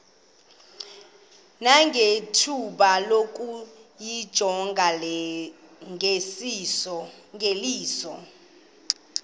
nangethuba lokuyijonga ngeliso